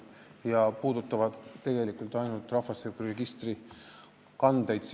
Need protsessid puudutavad sisuliselt ainult rahvastikuregistri kandeid.